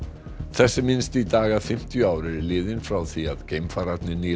þess er minnst í dag að fimmtíu ár eru liðin frá því að geimfararnir